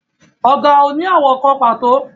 Ọ̀gà ò ní àwọ̀ kan pàtó